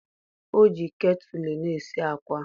O ji ketulu na-esi akwa.